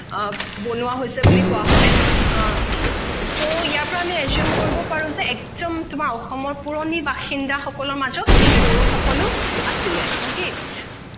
বনোৱা হৈছে বুলি কোৱা হয় so ইয়াৰ কাৰণে assume কৰিব পাৰো যে একদম তোমাৰ অসমত পুৰণি বাসিন্দা সকলৰ মাজত এই বড়ো সকলো আছিলে okay